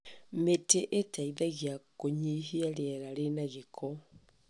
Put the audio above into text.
Mĩtĩ ĩteithagia kũnyihia rĩera rĩna gĩko.